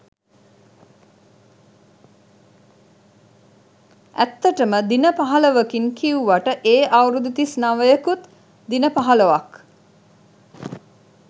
ඇත්තටම දින පහළොවකින් කිව්වට ඒ අවුරුදු තිස් නවයකුත් දින පහළොවක්.